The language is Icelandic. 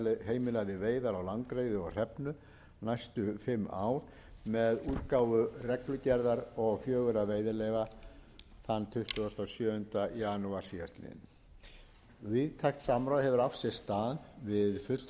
heimilaði veiðar á langreyði og hrefnu næstu fimm ár með útgáfu reglugerðar og fjögurra veiðileyfa þann tuttugasta og sjöunda janúar síðastliðnum víðtækt samráð hefur átt sér stað við fulltrúa